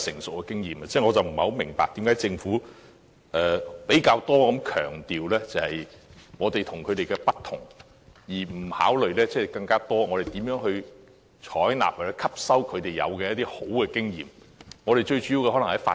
所以我不明白為何政府較多強調我們與他們的不同，而不考慮我們如何多採納和吸收其優良經驗。